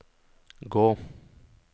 gå